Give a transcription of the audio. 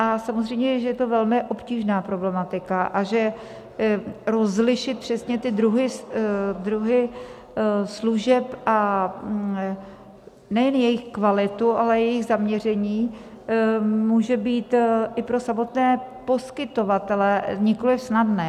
A samozřejmě že je to velmi obtížná problematika a že rozlišit přesně ty druhy služeb, a nejen jejich kvalitu, ale i jejich zaměření, může být i pro samotné poskytovatele nikoliv snadné.